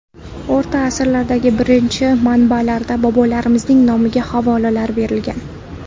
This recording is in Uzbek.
O‘rta asrlardagi birinchi manbalarda bobolarimizning nomiga havolalar berilgan.